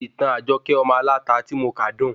Ìtàn Ajoke ọmọ aláta ti mo ka dun